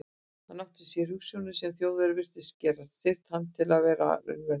Hann átti sér hugsjónir, sem Þjóðverjar virtust geta styrkt hann til að gera að raunveruleika.